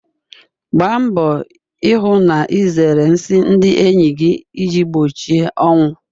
Gbaa mbọ hụ na ịzere nsị ndị enyi gị iji gbochie ọnwụ.